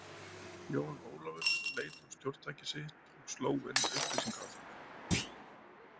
Jón Ólafur leit á stjórntækið sitt og sló inn upplýsingar á það.